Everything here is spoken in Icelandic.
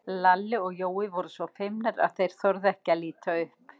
Lalli og Jói voru svo feimnir að þeir þorðu ekki að líta upp.